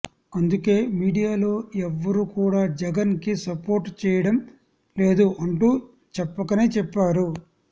అందుకే మీడియాలో ఎవ్వరు కూడా జగన్ కి సపోర్ట్ చేయడం లేదు అంటూ చెప్పకనే చెప్పారు